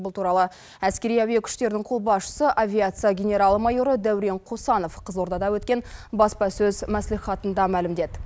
бұл туралы әскери әуе күштерінің қолбасшысы авиация генерал майоры дәурен қосанов қызылордада өткен баспасөз мәслихатында мәлімдеді